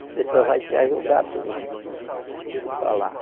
As pessoas vão te ajudar tu tu falar.